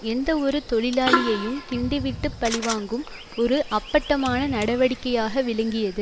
எந்த ஒரு தொழிலாளியையும் கிண்டி விட்டு பழி வாங்கும் ஒரு அப்பட்டமான நடவடிக்கையாக விளங்கியது